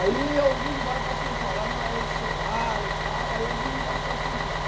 Aí eu vim embora para São Paulo, mas eles choraram e tal, aí eu vim embora para São Paulo.